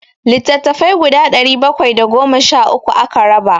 Littattafai guda ɗari bakwai da goma sha uku aka raba.